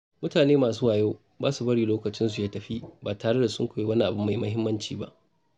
Mutane masu wayo ba sa bari lokacinsu ya tafi ba tare da sun koyi wani abu mai muhimmanci ba.